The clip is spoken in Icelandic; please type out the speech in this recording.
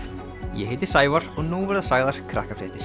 ég heiti Sævar og nú verða sagðar